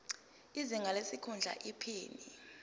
izinga lesikhundla iphini